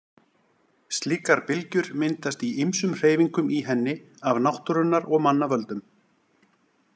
Slíkar bylgjur myndast í ýmsum hreyfingum í henni af náttúrunnar og manna völdum.